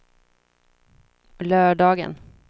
lördagen